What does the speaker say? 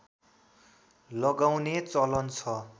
लगाउने चलन छ